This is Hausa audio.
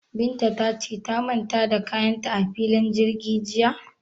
Binta ta ce ta manta da kayan ta a filin jirgi jiya?